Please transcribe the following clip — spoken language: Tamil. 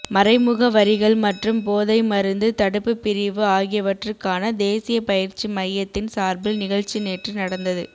மறைமுக வரிகள் மற்றும் போதைமருந்து தடுப்பு பிரிவு ஆகியவற்றுக்கான தேசிய பயிற்சி மையத்தின் சார்பில் நிகழ்ச்சி நேற்று நடந்தது